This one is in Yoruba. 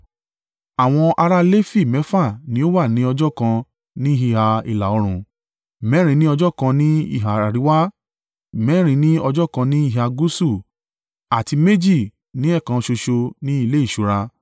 Àwọn ará Lefi mẹ́fà ní ó wà ní ọjọ́ kan ní ìhà ìlà-oòrùn, mẹ́rin ní ọjọ́ kan ní ìhà àríwá, mẹ́rin ní ọjọ́ kan ní ìhà gúúsù àti méjì ní ẹ̀ẹ̀kan ṣoṣo ní ilé ìṣúra.